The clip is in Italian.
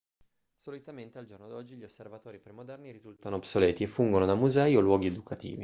solitamente al giorno d'oggi gli osservatori premoderni risultano obsoleti e fungono da musei o luoghi educativi